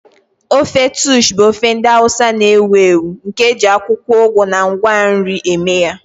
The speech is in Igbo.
Ofe Taushe bụ ofe ndị Hausa na-ewu ewu nke e ji akwụkwọ ugu na ngwa nri eme ya.